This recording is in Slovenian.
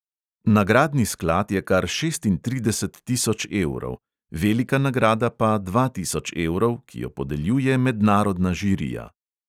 Nagradni sklad je kar šestintrideset tisoč evrov, velika nagrada pa dva tisoč evrov, ki jo podeljuje mednarodna žirija